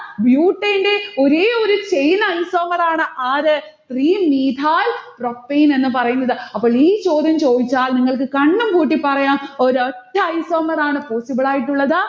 butane ന്റെ ഒരേയൊരു chain isomer ആണ് ആര്? three methyl propane എന്ന് പറയുന്നത്. അപ്പോൾ ഈ ചോദ്യം ചോദിച്ചാൽ നിങ്ങൾക്ക് കണ്ണും പൂട്ടി പറയാം ഒരൊറ്റ isomer ആണ് possible ആയിട്ടുള്ളത്.